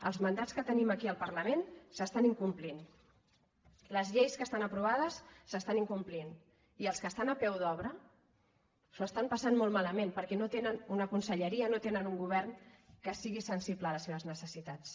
els mandats que tenim aquí al parlament s’estan incomplint les lleis que estan aprovades s’es·tan incomplint i els que estan a peu d’obra s’ho estan passant molt malament perquè no tenen una conselle·ria no tenen un govern que sigui sensible a les seves necessitats